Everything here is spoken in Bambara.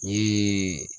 Ee